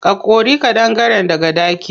Ka kori ƙadangaren daga ɗaki.